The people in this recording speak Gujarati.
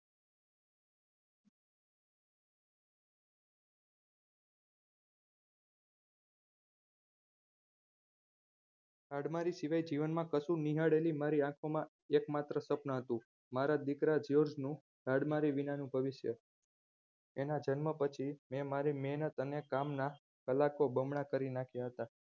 હાડમારી શિવાય જીવનમાં કશું નિહાળેલી મારી આંખોમાં એકમાત્ર સ્વપન હતું મારા દીકરા જ્યોર્જનું હાડમારી વિનાનું ભવિષ્ય અને જન્મ પછી મેં મારી મેહનત અને કામના કલાકો બમણા કરી નાખ્યા હતા